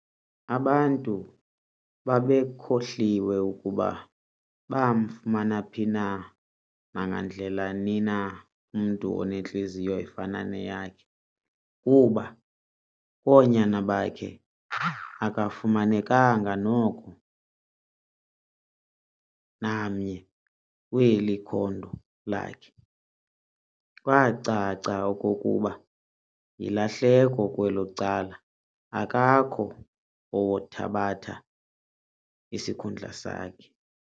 Abantu babekhohliwe ukuba bomfumana phi na nangandlela ni na umntu onentliziyo efana neyakhe, kuba koonyana bakhe akufumanekanga noko amnye weli khondo lakhe, kwacaca okokuba yilahleko kwelo cala akakho owothabatha isikhundla sakhe.